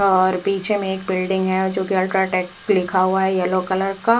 और पीछे में एक बिल्डिंग है जो की अल्ट्राटेक लिखा हुआ है येल्लो कलर का--